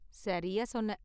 சரியா சொன்னே!